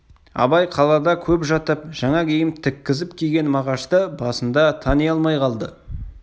абай қалада көп жатып жаңа киім тіккізіп киген мағашты басында тани алмай қалды